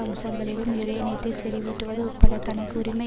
அம்சங்களிலும் யுரேனியத்தை செறிவூட்டுவது உட்பட தனக்கு உரிமை